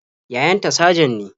Yayan ta sajan ne.